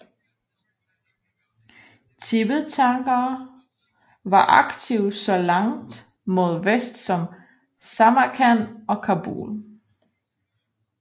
Tibetanere var aktive så langt mod vest som Samarkand og Kabul